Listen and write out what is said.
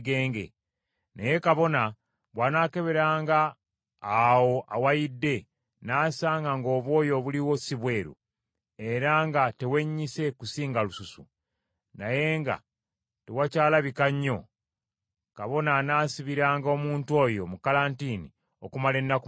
Naye kabona bw’anaakeberanga awo awayidde, n’asanga ng’obwoya obuliwo si bweru, era nga tewennyise kusinga lususu, naye nga tewakyalabika nnyo, kabona anaasibiranga omuntu oyo mu kalantiini okumala ennaku musanvu.